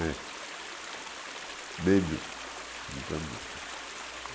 É. Medo de plantação.